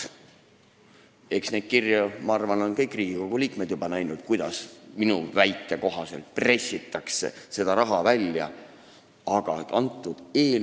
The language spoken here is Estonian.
Ma arvan, et neid kirju on juba kõik Riigikogu liikmed näinud, kuidas – minu väite kohaselt – seda raha välja pressitakse.